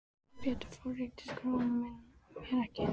Sem betur fór líktist sonur minn mér ekki.